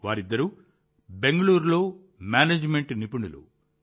వారిద్దరూ బెంగుళూరులో మేనేజ్మెంట్ నిపుణులు